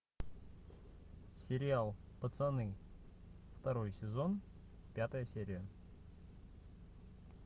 сериал пацаны второй сезон пятая серия